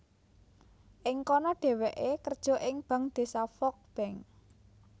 Ing kono dhèwèké kerja ing Bank Désa Volk bank